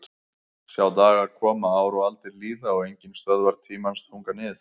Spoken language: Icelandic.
Sjá dagar koma ár og aldir líða og enginn stöðvar tímans þunga nið